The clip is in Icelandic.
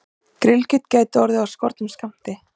Grillkjöt gæti orðið af skornum skammti